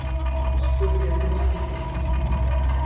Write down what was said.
spurði hún tortryggin.